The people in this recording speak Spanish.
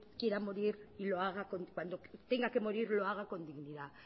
quiera morir tenga que morir lo haga con dignidad